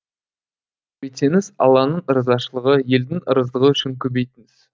көбейтсеңіз алланың ырзашылығы елдің ырыздығы үшін көбейтіңіз